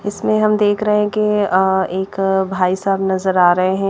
अ इसमें हम देख रहे है की एक भाईसाब नज़र आ रहे है।